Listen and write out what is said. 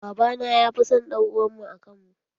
Baba na ya fi san ɗan uwan mu a kan mu.